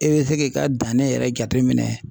E bɛ se k'i ka danni yɛrɛ jateminɛ.